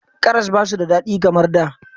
Karas ba su da daɗi kamar da.